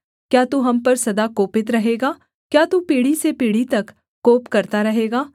क्या तू हम पर सदा कोपित रहेगा क्या तू पीढ़ी से पीढ़ी तक कोप करता रहेगा